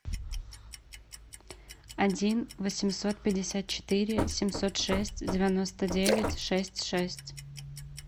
один восемьсот пятьдесят четыре семьсот шесть девяносто девять шесть шесть